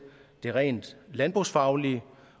det rent landbrugsfaglige